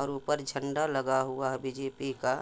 और ऊपर झंडा लगा हुआ है बी .जे.पी. का।